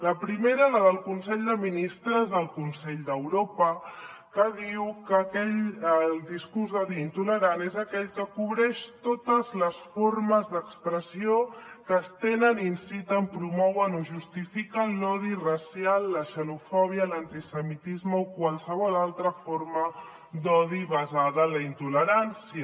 la primera la del consell de ministres del consell d’europa que diu que el discurs d’odi i intolerant és aquell que cobreix totes les formes d’expressió que estenen inciten promouen o justifiquen l’odi racial la xenofòbia l’antisemitisme o qualsevol altra forma d’odi basada la intolerància